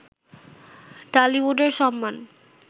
ঢালিউডের সম্মান